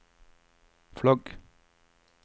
flagg